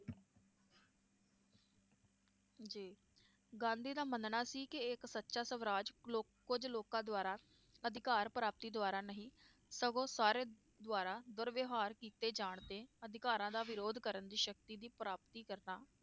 ਜੀ ਗਾਂਧੀ ਦਾ ਮੰਨਣਾ ਸੀ ਕਿ ਇਕ ਸਚਾ ਸਵਰਾਜ ਲੋਕ~ ਕੁਝ ਲੋਕਾਂ ਦਵਾਰਾ, ਅਧਿਕਾਰ ਪ੍ਰਾਪਤੀ ਦਵਾਰਾ ਨਹੀਂ, ਸਗੋਂ ਸਾਰੇ ਦਵਾਰਾ ਦੁਰਵਿਹਾਰ ਕੀਤੇ ਜਾਣ ਤੇ ਅਧਿਕਾਰਾਂ ਦਾ ਵਿਰੋਧ ਕਰਨ ਦੀ ਸ਼ਕਤੀ ਦੀ ਪ੍ਰਾਪਤੀ ਕਰਨਾ,